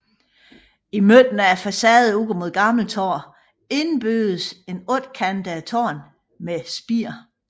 I midten af facaden ud mod Gammeltorv indbyggedes et ottekantet tårn med spir